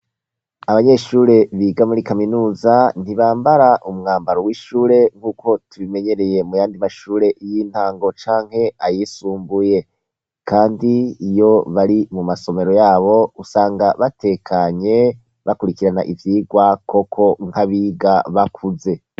Abanyeshure biga muri kaminuza ntibambara umwambaro w'ishure nk'uko tubimenyereye muyandi mashure y'intango canke ayisumbuye, kandi iyo bari mu masomero yabo usanga batekanye, bakurikirana ivyigwa koko nk'abiga bakuze.